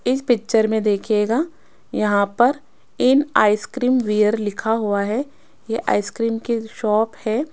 इस पिक्चर में देखिएगा यहां पर इन आइसक्रीम वियर लिखा हुआ है ये आइसक्रीम की शॉप है।